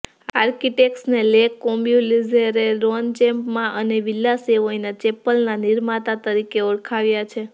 આર્કિટેક્ટ્સને Le કોર્બ્યુઝેરે Ronchamp અને Villa સેવોયના ચેપલના નિર્માતા તરીકે ઓળખાવ્યા છે